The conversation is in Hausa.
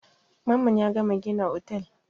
Mamman ya gama gina otel.